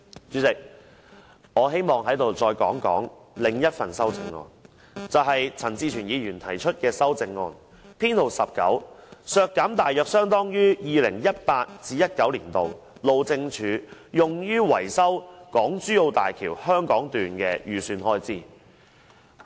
主席，我希望說說另一項由陳志全議員提出的修正案，編號 19，" 削減大約相當於 2018-2019 年度路政署用於維修港珠澳大橋香港段的預算開支"。